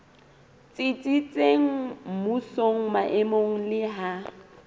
tsitsitseng mmusong maemong le ha